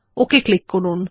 okay click করুন